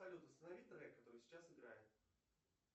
салют останови трек который сейчас играет